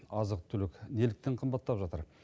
азық түлік неліктен қымбаттап жатыр